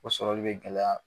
O sɔrɔli be gɛlɛya.